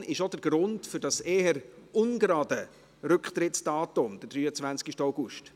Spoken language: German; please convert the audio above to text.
Die Kommission ist auch der Grund für das eher ungerade Rücktrittsdatum 23. August.